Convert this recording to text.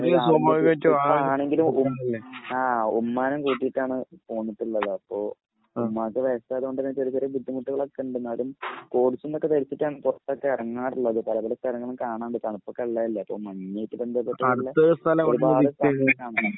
ഇപ്പോൾ ആണെങ്കിലും ആ ഉമ്മാനെ കൂട്ടിയിട്ടാണ് പോന്നിട്ടുള്ളത്. അപ്പോൾ ഉമ്മാക്ക് ആയതുകൊണ്ട് ചെറിയ ചെറിയ ബുദ്ധിമുട്ടുകളൊക്കെയുണ്ട്. എന്നാലും പുറത്തൊക്കെ ഇറങ്ങാറുള്ളത്. ഇവിടെ ഇപ്പോൾ അധികം കാണാൻ പറ്റില്ല. ഇപ്പോൾ മഞ്ഞ് ഒരുപാട്